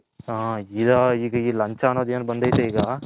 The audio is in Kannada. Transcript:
ಹ ಈಗ ಈಗ ಲಂಚ ಅನ್ನೋದು ಎನ್ ಬಂದೈತ್ರ ಈಗ.